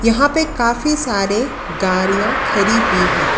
यहाँ पे काफ़ी सारे गाड़ियाँ खड़ी हुई हैं।